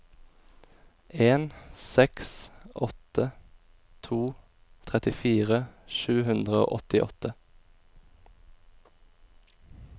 en seks åtte to trettifire sju hundre og åttiåtte